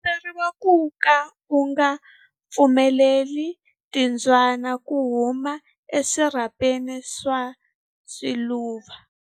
U komberiwa ku ka u nga pfumeleli timbyana ku humela eswirhapeni swa swiluva.